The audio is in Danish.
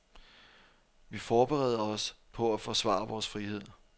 Vi forbereder os på at forsvare vores frihed.